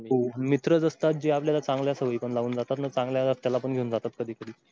हो पण मित्रच असतात जे आपल्याला चांगल्या सवयी पण लावून जातात. चांगल्या रस्त्याला पण घेऊन जातात ना कधी कधी.